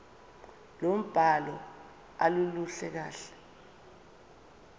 lombhalo aluluhle kahle